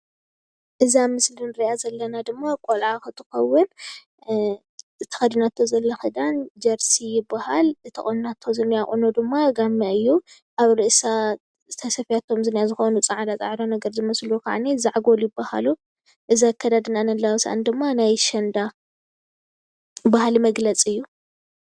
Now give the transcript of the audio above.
እዛ ምስሊ ንሪኣ ዘለና ድማ ቆልዓ እንትትከውን እቲ ተኸዲናቶ ዘላ ኽዳን ጀርሲ ይባሃል፡፡ እቲ ተቆኒናቶ ዝኒሃ ቁኖ ድማ ጋመ እዩ:: ኣብ ርእሳ ተሰፊያቶም ዘላ ፃዕዳ ፃዕዳ ዛዕጎል ይባሃሉ፡፡ እዚ ኣከዳድናኣን ኣለባብሳኣን ድማ ናይ ኣሸንዳ ባህሊ መግለፂ እዩ፡፡